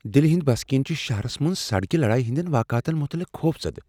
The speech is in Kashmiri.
دِلِہ ہنٛدۍ بسکین چھ شہرس منٛز سڑکہِ لڈایہِ ہندین واقعاتن متعلق خوفزدٕ ۔